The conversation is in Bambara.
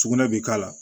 Sugunɛ bɛ k'a la